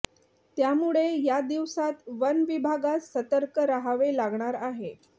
त्यामुळे या दिवसात वन विभागास सतर्क रहावे लागणार आहे